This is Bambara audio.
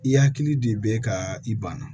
I hakili de bɛ ka i banna